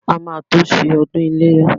A máa tó ṣe ọdún iléyá.